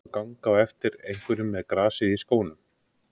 Að ganga á eftir einhverjum með grasið í skónum